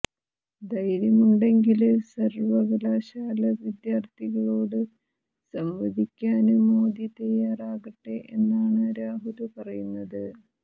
ധൈര്യമുണ്ടെങ്കില് സര്വകലാശാല വിദ്യാര്ഥികളോട് സംവദിക്കാന് മോദി തയാറാകട്ടെ എന്നാണ് രാഹുല് പറയുന്നത്